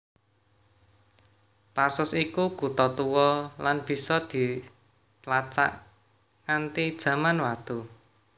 Tarsus iku kutha tuwa lan bisa ditlacak nganti Jaman Watu